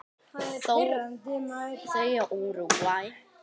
Þau og Úrúgvæ.